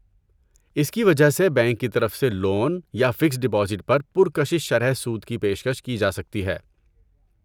اس کی وجہ سے بینک کی طرف سے لون یا فکسڈ ڈپوزٹ پر پرکشش شرح سود کی پیش کش کی جاسکتی ہے۔